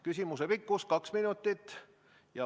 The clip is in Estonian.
Küsimuse pikkus on kaks minutit.